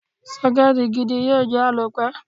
Sọ́kẹ́tì gidi yóò jẹ́ àlòpẹ́.